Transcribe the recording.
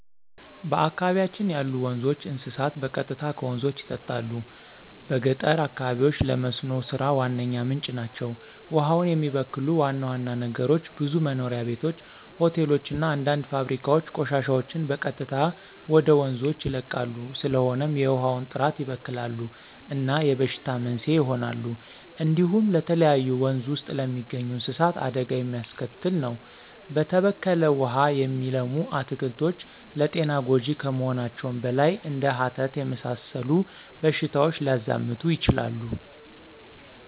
በአካባቢያችን ያሉ ወንዞች፣ እንስሳት በቀጥታ ከወንዞች ይጠጣሉ። በገጠር አካባቢዎች ለመስኖ ሥራ ዋነኛ ምንጭ ናቸው። ውሃውን የሚበክሉ ዋና ዋና ነገሮች ብዙ መኖሪያ ቤቶች፣ ሆቴሎች እና አንዳንድ ፋብሪካዎች ቆሻሻቸውን በቀጥታ ወደ ወንዞች ይለቃሉ። ስለሆነም የውሃውን ጥራት ይበክላሉ እና የበሽታዎች መንስኤ ይሆናሉ። እንዲሁም ለተለያዩ ወንዝ ውስጥ ለሚገኙ እንስሳት አደጋ የሚያስከትል ነው። በተበከለ ውሃ የሚለሙ አትክልቶች ለጤና ጎጅ ከመሆናቸውም በላይ እንደ ሀተት የመሰሉ በሽታዎች ሊያዛምቱ ይችላሉ።